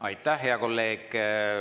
Aitäh, hea kolleeg!